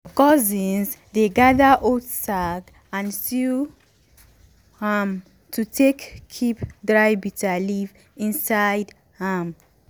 cousins dey gather old sack and sew am to take keep dry bitterleaf inside am.